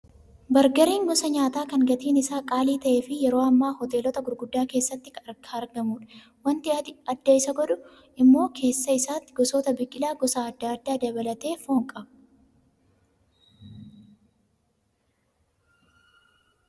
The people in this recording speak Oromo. Bargariin gosa nyaataa kan gatiin isaa qaalii ta'ee fi yeroo ammaa hoteelota gurguddaa keessatti argamudha. Wanti adda Isa godhu immoo keessa isaatti gosoota biqilaa gosa adda addaa dabalatee foon qaba.